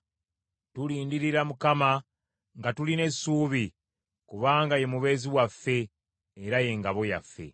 Tulindirira Mukama nga tulina essuubi, kubanga ye mubeezi waffe era ye ngabo yaffe.